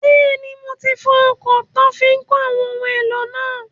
Bẹ́ẹ̀ni, mo ti fọ ọkọ̀ táa fi n kó àwọn ohun èlò náà